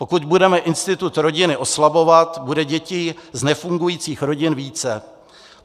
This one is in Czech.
Pokud budeme institut rodiny oslabovat, bude dětí z nefungujících rodin více.